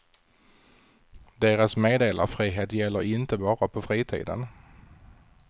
Deras meddelarfrihet gäller inte bara på fritiden.